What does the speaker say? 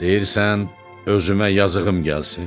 Deyirsən özümə yazığım gəlsin.